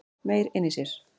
Meyr inni í sér